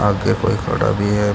आगे कोई खड़ा भी है।